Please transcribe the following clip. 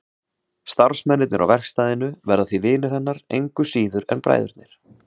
Starfsmennirnir á verkstæðinu verða því vinir hennar engu síður en bræðurnir.